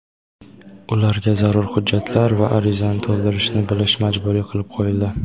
ularga zarur hujjatlar va arizani to‘ldirishni bilish majburiy qilib qo‘yildi.